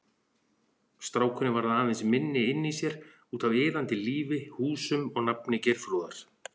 Strákurinn varð aðeins minni inni í sér, útaf iðandi lífi, húsum og nafni Geirþrúðar.